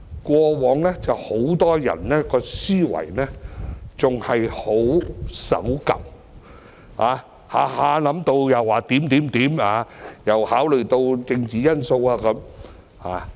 以往很多人的思維仍然相當守舊，經常說一些有的沒的，又要考慮政治因素。